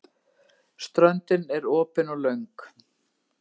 Ströndin er opin og löng.